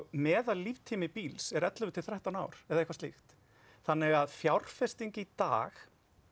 meðal líftími bíls er ellefu til þrettán ár eða eitthvað slíkt þannig að fjárfesting í dag